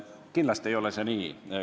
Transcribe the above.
Kindlasti ei ole see nii.